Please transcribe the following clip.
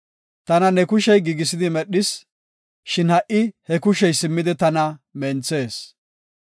Tana ne kushey giigisidi medhis; shin ha77i he kushey simmidi tana menthees.